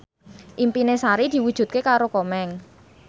impine Sari diwujudke karo Komeng